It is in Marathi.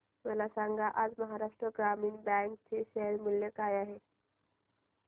मला सांगा आज महाराष्ट्र ग्रामीण बँक चे शेअर मूल्य काय आहे